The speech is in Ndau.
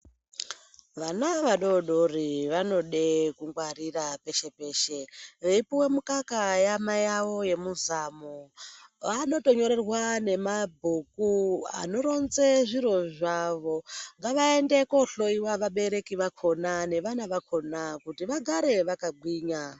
Vana vadodori vanoda kungwarira peshe-peshe, veipuva mukaka yamai avo vemuzamu, anotonyorerwa nemabhuku anoronze zviro zvavo. Ngavaende kohloiwa vabereki vakona nevana vakona kuti vagare vakagwinya.